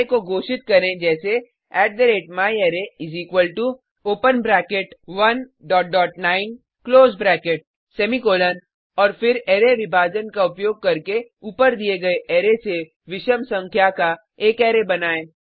array को घोषित करें जैसे myArray open bracket 19 close bracket semicolon और फिर अरै विभाजन का उपयोग करके ऊपर दिये गये अरै से विषम संख्या का एक अरै बनाएँ